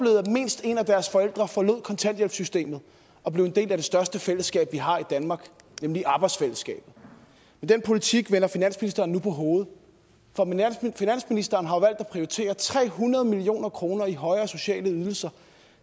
mindst en af deres forældre forlod kontanthjælpssystemet og blev en del af det største fællesskab vi har i danmark nemlig arbejdsfællesskabet den politik vender finansministeren nu på hovedet for finansministeren har valgt at prioritere tre hundrede million kroner i højere sociale ydelser